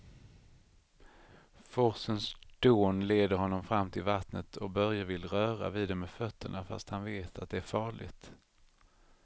Forsens dån leder honom fram till vattnet och Börje vill röra vid det med fötterna, fast han vet att det är farligt.